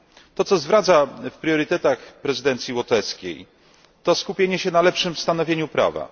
To, co zwraca uwagę w priorytetach prezydencji łotewskiej, to skupienie się na lepszym stanowieniu prawa.